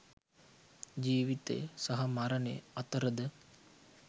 ජීවිතය සහ මරණය අතර ද